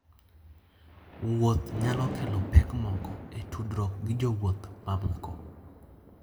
Wuoth nyalo kelo pek moko e tudruok gi jowuoth mamoko.